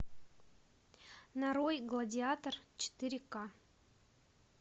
нарой гладиатор четыре ка